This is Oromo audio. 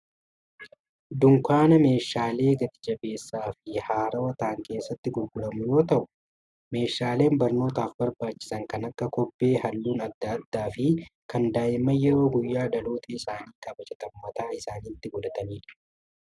Dunkaana meeshaalee gatijabbeessaa fi haarawaa ta'an keessatti gurguramu yommuu ta'u, meeshaalee barnootaaf barbaachisan kan akka kobbee halluun adda addaa fi kan daa'imman yeroo guyyaa dhalootaa isaanii kabajatan mataa isaaniitti godhatanidha.